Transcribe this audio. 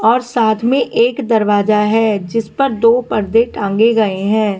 और साथ में एक दरवाजा है जिस पर दो पर्दे टांगे गए हैं।